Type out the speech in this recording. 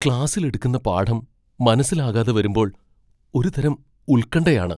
ക്ലാസ്സിൽ എടുക്കുന്ന പാഠം മനസ്സിലാകാതെ വരുമ്പോൾ ഒരുതരം ഉൽകൺഠയാണ്.